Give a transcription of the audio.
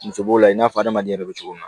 Muso b'o la i n'a fɔ adamaden yɛrɛ bɛ cogo min na